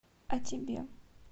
а тебе